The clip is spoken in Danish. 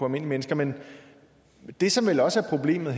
mennesker men det som vel også er problemet